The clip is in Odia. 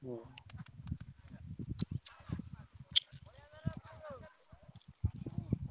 ହୁଁ